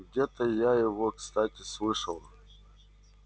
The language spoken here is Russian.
где-то я его кстати слышал